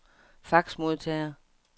faxmodtager